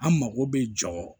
An mago bɛ jɔ